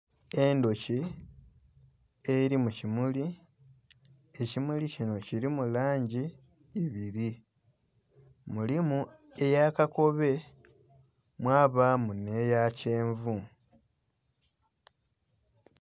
Endhoki eri mu kimuli, ekimuli kinho kilimu langi ibiri mulimu eya kakobe mwabamu nhe ya kyenvu.